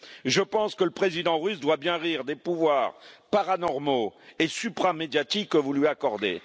Je pense que le président russe doit bien rire des pouvoirs paranormaux et supra médiatiques que vous lui accordez.